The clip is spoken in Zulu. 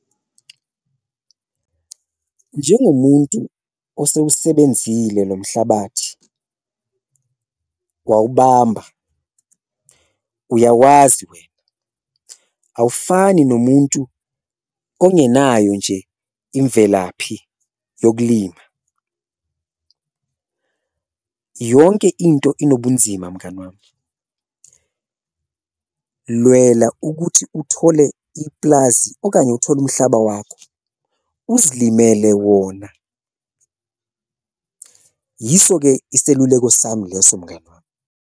Njengomuntu osewusebenzile lo mhlabathi, wawubamba uyawazi wena awufani nomuntu ongenayo nje imvelaphi yokulima yonke into inobunzima mngani wami, lwela ukuthi uthole iplazi okanye uthole umhlaba wakho uzilimele wona. Yiso-ke iseluleko sami leso mngani wami.